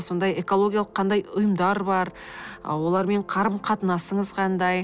сондай экологиялық қандай ұйымдар бар ы олармен қарым қатынасыңыз қандай